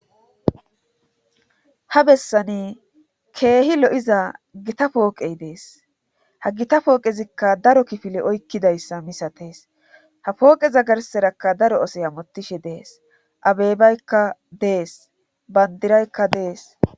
ha bessani keehi lo7iza gita pooqey dees ha gita pooqezikka daro kifile oykkidayssa misatees ha pooqeza garserakka daro asoy amotishe dees abeybaykka dees bandiraykka dees